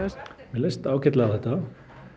leist ágætlega á þetta